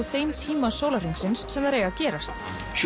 þeim tíma sólarhringsins sem þær eiga að gerast